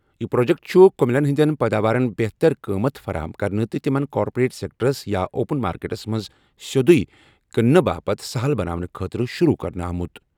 یہِ پرٛوجیٚکٹ چُھ کٔمِلین ہِنٛدیٚن پٲداوارَن بہتر قۭمَت فراہم کرنہٕ تہٕ تِمن کارپوریٹ سیٚکٹرس یا اوپن مارکیٹَس منٛز سیوٚدُے کٕننہٕ باپتھ سَہَل بناونہٕ خٲطرٕ شُروٗع کرنہٕ آمُت۔